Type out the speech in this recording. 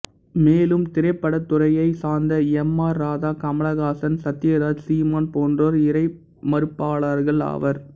மேலும் திரைப்படத்துறையைச் சாந்த எம் ஆர் ராதா கமலகாசன் சத்தியராஜ் சீமான் போன்றோர் இறைமறுப்பாளர்கள் ஆவர்